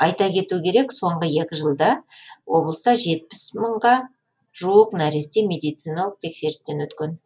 айта кету керек соңғы екі жылда облыста жетпіс мыңға жуық нәресте медициналық тексерістен өткен